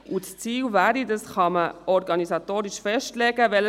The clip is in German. Das Ziel ist es, dass dann die Stammlisten-Stimmen gelten.